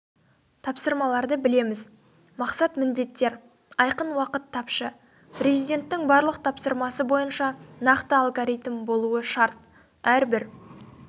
тапсырмаларды білеміз мақсат-міндеттер айқын уақыт тапшы президенттің барлық тапсырмасы бойынша нақты алгоритм болуы шарт әрбір